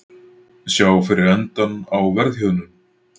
Sjá fyrir endann á verðhjöðnun